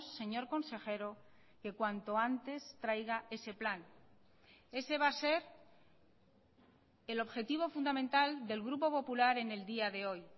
señor consejero que cuanto antes traiga ese plan ese va a ser el objetivo fundamental del grupo popular en el día de hoy